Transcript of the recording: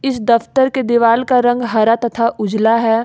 इस दफ्तर के दीवाल का रंग हरा तथा उजला है।